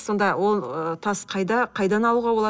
сонда ол ы тас қайда қайдан алуға болады